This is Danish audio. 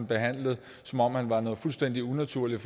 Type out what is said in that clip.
behandlet som om han var noget fuldstændig unaturligt